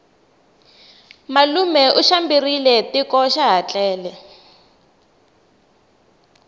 malume u xambile tiko xaha tlele